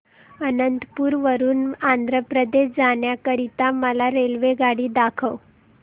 अनंतपुर वरून आंध्र प्रदेश जाण्या करीता मला रेल्वेगाडी दाखवा